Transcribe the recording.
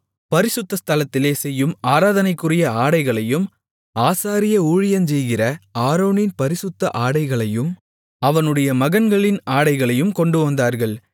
பரிசுத்த ஸ்தலத்திலே செய்யும் ஆராதனைக்குரிய ஆடைகளையும் ஆசாரிய ஊழியஞ்செய்கிற ஆரோனின் பரிசுத்த ஆடைகளையும் அவனுடைய மகன்களின் ஆடைகளையும் கொண்டுவந்தார்கள்